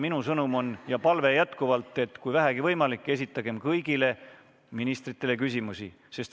Minu sõnum ja palve on jätkuvalt, et kui vähegi võimalik, esitagem kõigile ministritele küsimusi.